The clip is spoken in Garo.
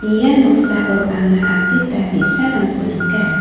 ia noksao anga adita bi·sarangko nika.